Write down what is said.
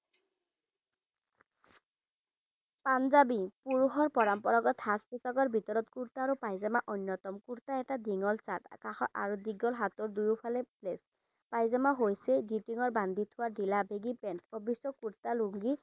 পাঞ্জাবী পুৰুষৰ পৰম্পৰাগত সাজ পোছাকৰ ভিতৰত কুৰ্টা আৰু পায়জামা অন্যতম কুৰ্টা এটা দীঘল shirt কাষৰ আৰু দীঘল হাতৰ দুইয়োফালে প্লেট পায়জামা হৈছে গীতিনৰ বান্ধি থোৱা ঢিলাবেগী পেন্ট অবশ্য কুৰ্তা লুঙ্গি